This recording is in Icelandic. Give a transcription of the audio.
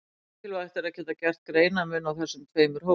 Mikilvægt er að geta gert greinarmun á þessum tveimur hópum.